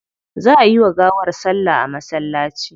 Za ayi wa gawar salla a masallaci.